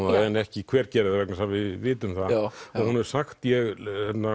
það en ekki hver gerði það vegna þess að við vitum það ég